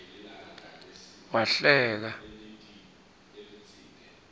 wahleka